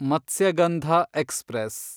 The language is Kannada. ಮತ್ಸ್ಯಗಂಧ ಎಕ್ಸ್‌ಪ್ರೆಸ್